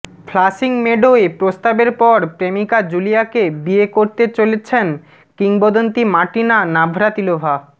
flushing মেডোয় প্রস্তাবের পর প্রেমিকা জুলিয়াকে বিয়ে করতে চলেছেন কিংবদন্তি মার্টিনা নাভ্রাতিলোভা